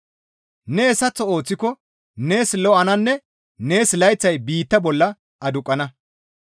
Ne hessaththo ooththiko nees lo7ananne nees layththay biittaa bolla aduqqana.